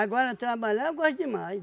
Agora, trabalhar eu gosto demais.